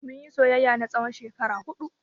Mun yi soyayya na tsawon shekara huɗu.